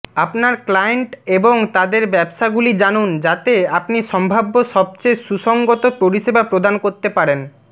আপনার ক্লায়েন্ট এবং তাদের ব্যবসাগুলি জানুন যাতে আপনি সম্ভাব্য সবচেয়ে সুসংগত পরিষেবা প্রদান করতে পারেন